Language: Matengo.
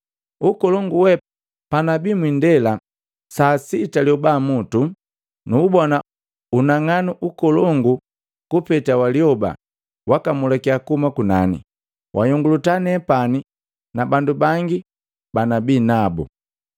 Unkolongu wee, panabi mwindela, lisaa la sita lioba mutu, nuubona unang'anu nkolongu kupeta walioba wakamulika kuhuma kunani, wanhyonguluta nepani na bandu bangi banabinabu.